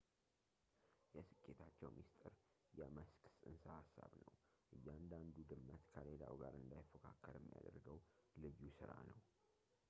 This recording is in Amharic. የስኬታቸው ምስጢር የመስክ ጽንሰ ሃሳብ ነው እያንዳንዱ ድመት ከሌላው ጋር እንዳይፎካከር የሚያደርገው ልዩ ሥራ ነው